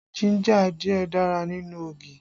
Jínjà díẹ̀ dára nínú ogi